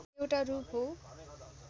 एउटा रूप हो